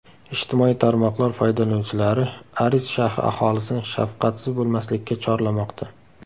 Ijtimoiy tarmoqlar foydalanuvchilari Aris shahri aholisini shafqatsiz bo‘lmaslikka chorlamoqda .